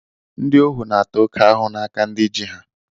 Ndị ohu na-ata oké ahụhụ n'aka ndị ji ha